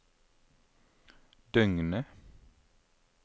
døgnet